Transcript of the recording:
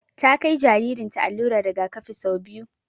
Ta kai jaririn ta allurar rigakafi sau biyu